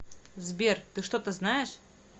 сбер ты что то знаешь